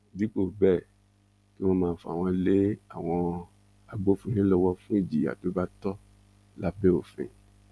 dípò bẹẹ kí wọn máa fà wọn lé àwọn agbófinró lọwọ fún ìjìyà tó bá tọ lábẹ òfin